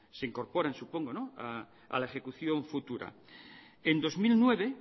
se incorporan supongo a la ejecución futura en dos mil nueve